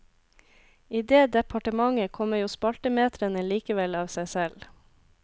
I det departementet kommer jo spaltemetrene likevel av seg selv.